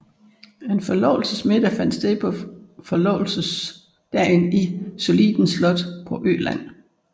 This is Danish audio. En forlovelsesmiddag fandt sted på forlovelsesdagen i Solliden Slot på Öland